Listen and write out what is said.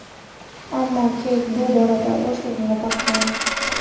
Ammo Keyt bu borada o‘z o‘rnini topgan.